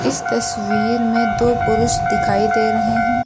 इस तस्वीर में दो पुरुष दिखाई दे रहे हैं।